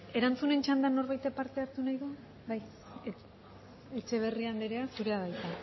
erantzunen txandan norbaitek parte hartu nahi du bai etxeberria andrea zurea da hitza